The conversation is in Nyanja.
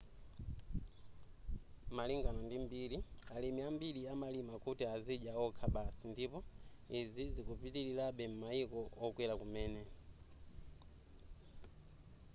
malingana ndi mbiri alimi ambiri amalima kuti azidya okha basi ndipo izi zikupitilirabe m'mayiko okwera kumene